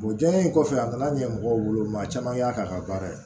O jɛɲe in kɔfɛ a nana ɲɛmɔgɔw bolo maa caman y'a k'a ka baara ye